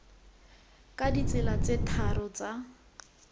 ka ditsela tse tharo tsa